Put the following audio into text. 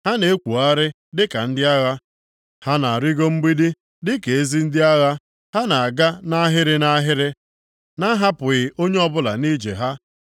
Ha na-ekwogharị dịka ndị agha; ha na-arịgo mgbidi dịka ezi ndị agha. Ha na-aga nʼahịrị nʼahịrị, na-ahapụghị onye ọbụla nʼije ha.